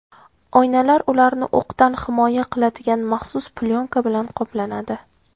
Oynalar ularni o‘qdan himoya qiladigan maxsus plyonka bilan qoplanadi.